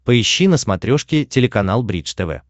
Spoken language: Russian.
поищи на смотрешке телеканал бридж тв